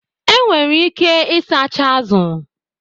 Enwere ike ịsacha azụ